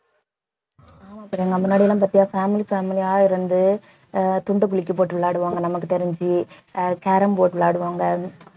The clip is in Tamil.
ஆமா பிரியங்கா முன்னாடிலாம் பாத்தியா family family ஆ இருந்து அஹ் துண்டு குலுக்கி போட்டு விளையாடுவாங்க நமக்கு தெரிஞ்சு அஹ் carrom board விளையாடுவாங்க